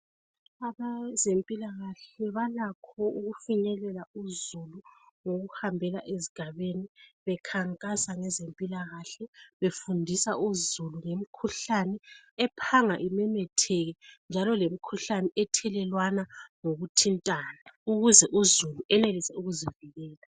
Abezempilakahle balakho ukufinyelela uzulu ngokuhambela ezigabeni bekhankasa ngezempilakahle befundisa uzulu ngemikhuhlane ephanga imemethetheke njalo lemikhuhlane ethelelwana ngokuthintana ukuze uzulu enelise ukuzivikela.